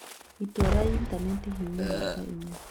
itua rĩa intanenti hihinya namba inya